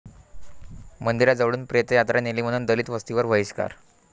मंदिराजवळून प्रेतयात्रा नेली म्हणून दलित वस्तीवर बहिष्कार